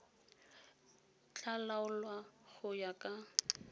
tla laolwa go ya ka